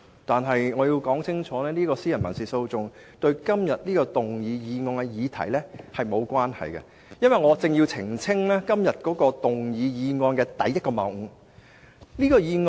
然而，我必須講清楚，這宗民事訴訟對今天討論的議案並無關係，我更要澄清本議案的數個謬誤。